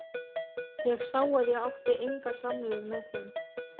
Ég sá að ég átti enga samleið með þeim.